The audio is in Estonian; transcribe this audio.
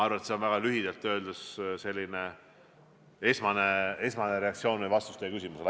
See on väga lühidalt selgitades vastus teie küsimusele.